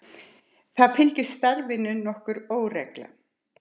Það fylgdi starfinu nokkur óregla.